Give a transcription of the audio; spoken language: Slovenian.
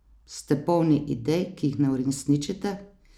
Ste polni idej, ki jih ne uresničite?